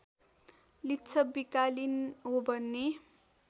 लिच्छविकालीन हो भन्ने